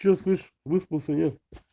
что слышишь выспался нет